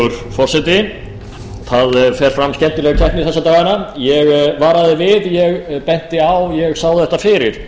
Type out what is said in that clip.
skemmtileg keppni þessa dagana ég varaði við ég benti á ég sá þetta fyrir